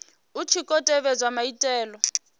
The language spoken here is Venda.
hu tshi khou tevhedzwa maitele